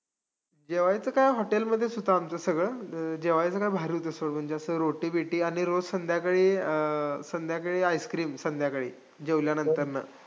जेवायचं काय hotel मध्येच होतं आमचं सगळं. जेवायचं काय बाहेरच असं म्हणजे असं रोटी-बीटी आणि रोज संध्याकाळी, अं संध्याकाळी ice cream संध्याकाळी जेवल्यानंतरनं.